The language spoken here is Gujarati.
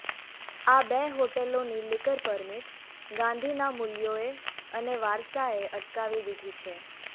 આ બે હોટેલોની લીકર પરમીટ ગાંધીના મુલ્યોએ અને વારસાએ અટકાવી દીધી છે